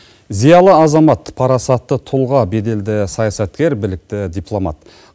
зиалы азамат парасатты тұлға беделді саясаткер білікті дипломат